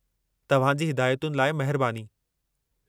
तव्हां जी हिदायतुनि लाइ महिरबानी।